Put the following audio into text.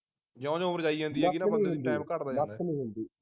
ਜਿਉ ਜਿਉ ਉਮਰ ਜਾਈ ਜਾਂਦੀ ਹੈਗੀ ਨਾ ਬੰਦੇ ਦੀ ਟਾਈਮ ਘੱਟਦਾ ਜਾਂਦਾ